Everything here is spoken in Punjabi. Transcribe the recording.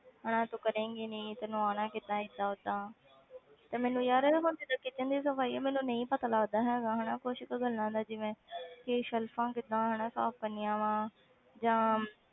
ਹਨਾ ਤੂੰ ਕਰੇਂਗੀ ਨੀ ਤੈਨੂੰ ਆਉਣਾ ਕਿੱਦਾਂ ਏਦਾਂ ਓਦਾਂ ਤੇ ਮੈਨੂੰ ਯਾਰ ਇਹ ਹੁਣ ਜਿੱਦਾਂ kitchen ਦੀ ਸਫ਼ਾਈ ਆ ਮੈਨੂੰ ਨਹੀਂ ਪਤਾ ਲੱਗਦਾ ਹੈਗਾ ਹਨਾ ਕੁਛ ਕੁ ਗੱਲਾਂ ਦਾ ਜਿਵੇਂ ਕਿ ਸੈਲਫ਼ਾਂ ਕਿੱਦਾਂ ਹਨਾ ਸਾਫ਼ ਕਰਨੀਆਂ ਵਾਂ ਜਾਂ